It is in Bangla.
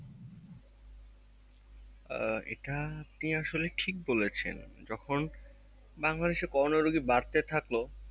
আহ এটা আপনি আসলে ঠিক বলেছেন যখন বাংলাদেশ এ করোনা রোগী বাড়তে থাকলো